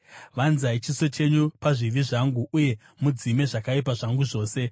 Vanzai chiso chenyu pazvivi zvangu uye mudzime zvakaipa zvangu zvose.